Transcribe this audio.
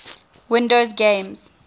windows games